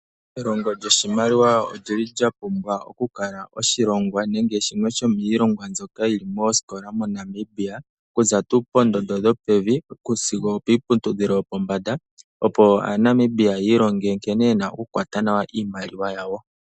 Elongo lyoshimaliwa olyili lya pumbwa oku kala shimwe shomiilongwa mbyoka yili moosikola moNamibia, okuza tuu poondondo dhopevi, sigo opiiputudhilo yopombanda, opo aaNamibia ya ilonge nkene yena oku kwata nawa iimaliwa yawo.